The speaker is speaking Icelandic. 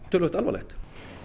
töluvert alvarlegt